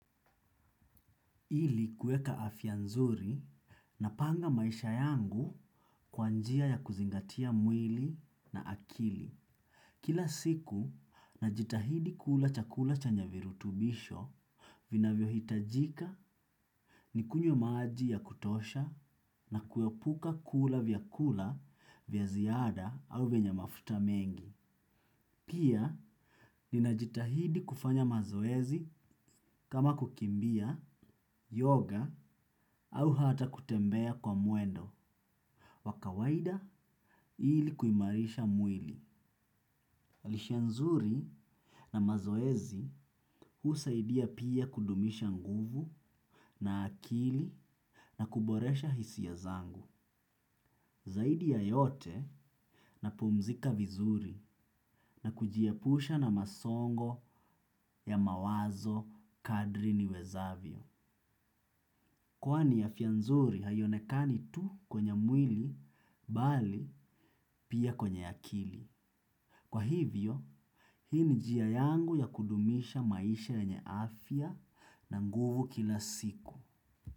Ili kuweka afya nzuri napanga maisha yangu, kwa njia ya kuzingatia mwili na akili. Kila siku, najitahidi kula chakula chenya virutubisho vinavyo hitajika ni kunywe maji ya kutosha na kuepuka kula vyakula vya ziada au vyenye mafuta mengi. Pia, ninajitahidi kufanya mazoezi kama kukimbia, yoga au hata kutembea kwa mwendo, wa kawaida ili kuimarisha mwili. Lishe nzuri na mazoezi husaidia pia kudumisha nguvu na akili, na kuboresha hisia zangu. Zaidi ya yote napumzika vizuri, na kujiepusha na masongo ya mawazo kadri niwezavyo. Kwani afya nzuri haionekani tu kwenye mwili, bali pia kwenye akili. Kwa hivyo, hii ni njia yangu ya kudumisha maisha yenye afya na nguvu kila siku.